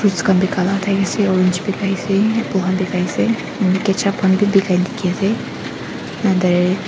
fruits kan peka laga tai ase orange pekkaise apple kan pekkaise mane ketchup kan be pekkai teki ase andare.